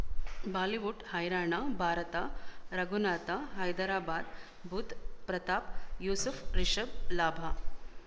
Bollywood ಹೈರಾಣ ಭಾರತ ರಘುನಾಥ ಹೈದರಾಬಾದ್ ಬುಧ್ ಪ್ರತಾಪ್ ಯೂಸುಫ್ ರಿಷಬ್ ಲಾಭ